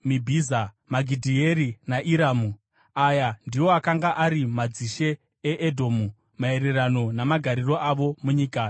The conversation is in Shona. Magidhieri naIrami. Aya ndiwo akanga ari madzishe eEdhomu, maererano namagariro avo munyika yavakatora. Uyu ndiye Esau baba wevaEdhomu.